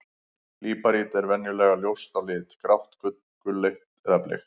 Líparít er venjulega ljóst á lit, grátt, gulleit eða bleikt.